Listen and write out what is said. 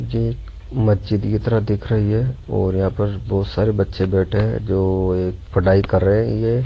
मस्जिद की तरह दिख रही है और यहां पर बोहोत सारे बच्चे बैठे हैं जो एक पढ़ाई कर रहे हैं ये --